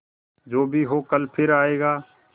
जो भी हो कल फिर आएगा